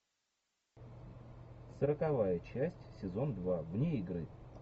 сороковая часть сезон два вне игры